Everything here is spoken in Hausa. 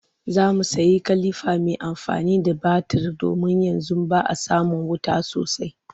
Za mu sayi kilifa mai amfani da batir domin yanzu ba a samin wuta sosai